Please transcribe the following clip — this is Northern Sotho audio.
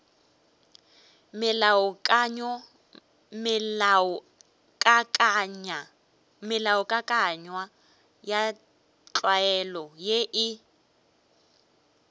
melaokakanywa ya tlwaelo ye e